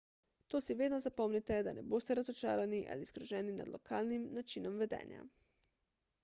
to si vedno zapomnite da ne boste razočarani ali zgroženi nad lokalnim načinom vedenja